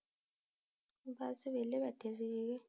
ਬਸ ਵੇਹਲੇ ਬੈਠੇ ਸੀਗੇ ਜੀ